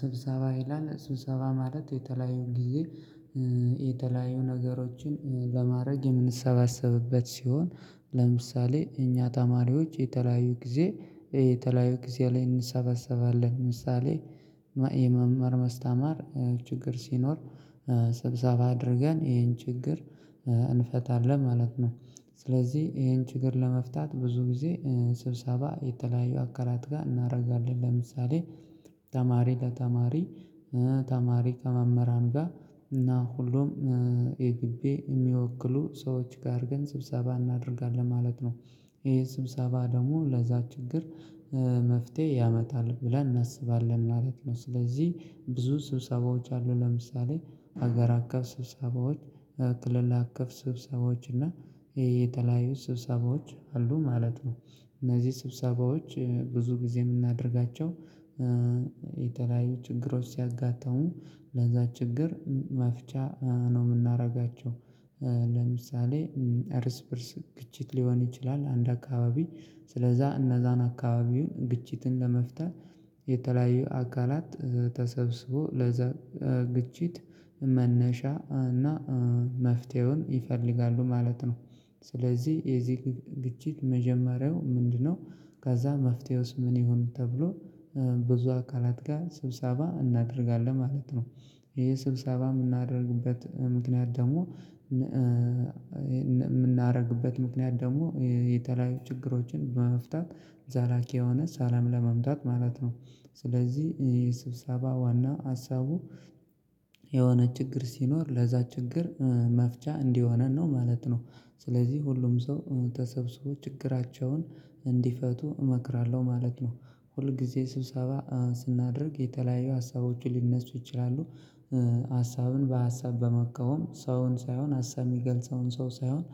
ስብሰባ ይላል ስብሰባ ማለት የተለያዩ ጊዜ የተለያዩ ነገሮችን በማድረግ የምንሰባሰብበት ሲሆን ለምሳሌ እኛ ተማሪዎች የተለያዩ ጊዜ የተለያዩ ጊዜ ላይ እንሰበሰባለን ምሳሌ መማር መስተማር ችግር ሲኖር ሰብሰባ አድርገን ይሄን ችግር እንፈታለን ማለት ነው። ስለዚህ ይሄን ችግር ለመፍታት ብዙ ጊዜ ስብሰባ የተለያዩ አካላት ጋር እናደርጋለን ለምሳሌ ተማሪ ለተማሪ ተማሪ ከመመራን ጋር እና ሁሉም የግቤ የሚወክሉ ሰዎች ጋር ግን ስብሰባ እናደርጋለን ማለት ነው። ይሄ ስብሰባ ደግሞ ለዛ ችግር መፍትሄ ያመጣል ብለን እናስባለን ማለት ነው። ስለዚህ ብዙ ስብሰባዎች አሉ ለምሳሌ ሀገር አቀፍ ስብሰባዎች ክልል አቀፍ ስብሰባዎች እና የተለያዩ ስብሰባዎች አሉ ማለት ነው። እነዚህ ስብሰባዎች ብዙ ጊዜ የምናደርጋቸው የተለያዩ ችግሮች ሲያጋጥሙ ለዛ ችግር መፍቻ ነው የምናደርጋቸው። ለምሳሌ እርስ በእርስ ግጭት ሊሆን ይችላል አንድ አካባቢ ስለዛ እነዛን አካባቢውን ግጭትን ለመፍታት የተለያየ አካላት ተሰብስቦ ለዛ ግጭት መነሻ እና መፍትሄውን ይፈልጋሉ ማለት ነው። ስለዚህ የዚህ ግጭት መጀመሪያው ምንድነው? ከዛ መፍትሄውስ ምን ይሆን ተብሎ? ብዙ አካላት ጋር ስብሰባ እናደርጋለን ማለት ነው። ይሄ ስብሰባ የምናደርግበት ምክንያት ደግሞ የምናደርግበት ምክንያት ደግሞ የተለያዩ ችግሮችን በመፍታት ዘላቂ የሆነ ሰለም ለማምጣት ማለት ነው። ስለዚህ ይሄ ስብሰባ ዋና ሀሳቡ የሆነ ችግር ሲኖር ለዛ ችግር መፍቻ እንዲሆነን ነው ማለት ነው። ስለዚህ ሁሉም ሰው ተሰብስቦ ችግራቸውን እንዲፈቱ እመክራለሁ ማለት ነው። ሁል ጊዜ ስብሰባ ስናደርግ የተለያዩ ሀሳቦችን ሊነሱ ይችላሉ። ሀሳብን በሀሳብ በመቃወም ሰውን ሳይሆን ሀሳብ የሚገልጸውን ሰው ሳይሆን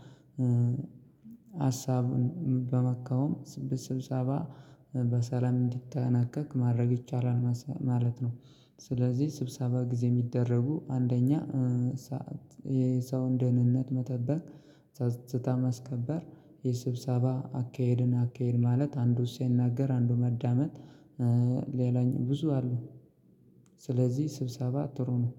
ሀሳብን በመቃወም ስብሰባ በሰላም እንዲጠናቀቅ ማድረግ ይቻላል ማለት ነው። ስለዚህ ስብሰባ ጊዜ የሚደረጉ አንደኛ ሰዓት የሰውን ደህንነት መጠበቅ ጸጥታ ማስከበር የስብሰባ አካሄድን አካሄድ ማለት አንዱ ሲናገር አንዱ ማዳመጥ ሌላኛው ብዙ አሉ። ስለዚህ ስብሰባ ጥሩ ነው።